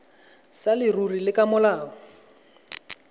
sa leruri le ka molao